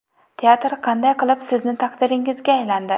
Teatr qanday qilib sizni taqdiringizga aylandi?